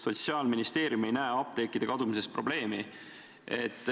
Sotsiaalministeerium ei näe apteekide kadumises probleemi.